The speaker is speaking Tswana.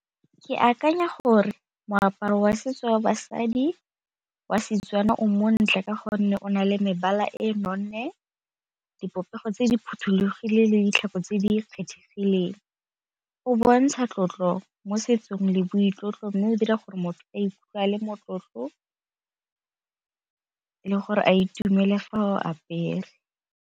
Ke akanya gore moaparo wa setso wa basadi wa Setswana o montle ka gonne o na le mebala e nonne, dipopego tse di phothulogile le ditlhako tse di kgethegileng. O bontsha tlotlo mo setsong le boitlotlo mme o dira gore motho a ikutlwa a le motlotlo le gore a itumele fa a o apere.